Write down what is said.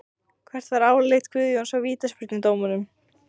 Hvert var álit Guðjóns á vítaspyrnudómnum?